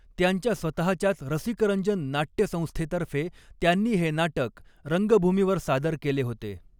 त्यांच्या स्वतःच्याच रसिकरंजन नाट्यसंस्थेतर्फे त्यांनी हे नाटक रंगभूमीवर सादर केले होते.